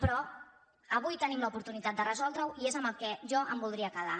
però avui tenim l’oportunitat de resoldre·ho i és amb el que jo em voldria quedar